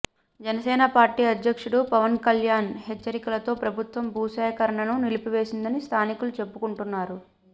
Janasena party అధ్యక్షుడు పవన్కల్యాణ్ హెచ్చరికలతో ప్రభుత్వం భూ సేకరణను నిలిపివేసిందని స్థానికులు చెప్పుకుంటున్నారు